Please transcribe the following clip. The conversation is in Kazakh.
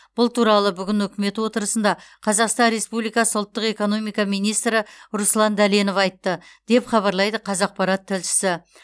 бұл туралы бүгін үкімет отырысында қазақстан республикасы ұлттық экономика министрі руслан дәленов айтты деп хабарлайды қазақпарат тілшісі